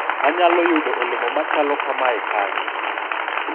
anyalo yudo olemo machalo kamae kanye?